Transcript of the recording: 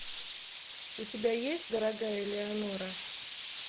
у тебя есть дорогая элеонора